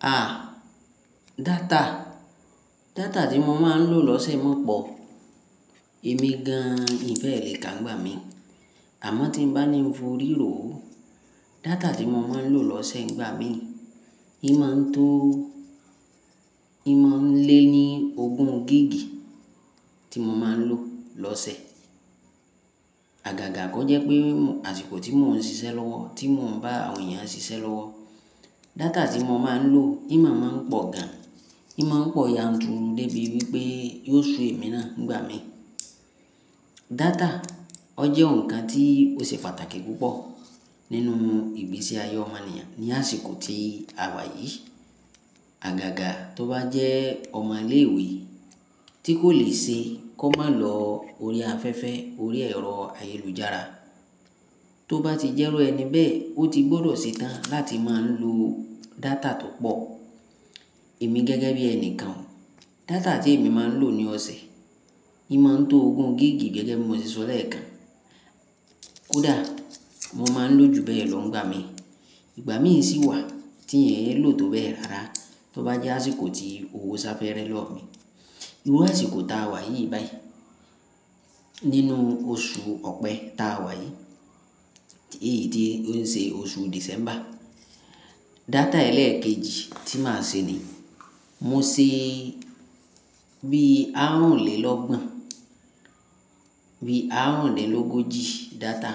À, data. Data tí mo máa ń lò lọ́sẹ̀ máa ń pọ̀. Èmi gan-an mi bẹ́ẹ̀ lè ká nigbà mí. Àmọ́ tí bá ní foríro ó, data tí mo máa ń lò lọ́sẹ̀ nígbà mí, imọ̀ ń tó, imọ̀ ń lé ní ogún gíìgì tí mo máa ń lò lọ́sẹ̀. Àgàgà kọ jẹ́ pé àsìkò tí mò ń ṣiṣẹ́ lọ́wọ́, tí mò ń bá àwọn èèyàn ṣiṣẹ́ lọ́wọ́, data tí mo máa ń lò imọ̀ máa ń pọ̀ gan. Ìmáa ń pọ̀ yanturu débi wípé yóò ṣú èmi náà nígbà mí. Data, ọ jẹ́ ǹkan tí ó ṣe pàtàkì púpọ̀ nínú ìgbésí ayé ọmọnìyàn ní àsìkò tí àwa yìí. Àgàgà tó bá jẹ́ ọmọ ilé ìwé tí kò lè ṣe kó má lọ orí afẹ́fẹ́, orí ẹ̀rọ ayélujára, tó bá ti jẹ́ru ẹni bẹ́ẹ̀, ó ti gbọ́dọ̀ ṣe tán láti máa ń lo data tó pọ̀. Èmi gẹ́gẹ́ bí ẹni kan, data tí èmi máa ń lò ní ọ̀sẹ̀, imọ̀ ń to ogún gíìgì gẹ́gẹ́ bí mo ti sọ lẹ́ẹ̀kan. Kódà mo máa ń lò ju bẹ́ẹ̀ lọ nígbà mí. Ìgbà mí ì sì wà tí ẹ̀ ń lò tó bẹ́ẹ̀ rara tó bá jẹ́ àsìkò tí owó sáfẹ́rẹ́ lọ́ mi. Irú àsìkò ta wà yìí báyìí. Nínú oṣù Ọ̀pẹ ta wà yìí, èyí ni ó ń ṣe oṣù Dìsẹ́mbà, data ẹlẹ́ẹ̀kejì tí màá ṣe ni, mo ṣe bí àárúnlélọ́gbọ̀n, bí àárúnlélógójì data